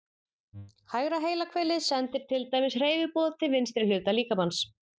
Hægra heilahvelið sendir til dæmis hreyfiboð til vinstri hluta líkamans.